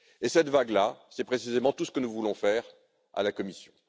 Cette vague là, c'est précisément tout ce que nous voulons faire à la Commission.